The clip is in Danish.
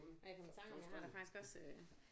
Nej jeg kom i tanke om jeg har da faktisk også øh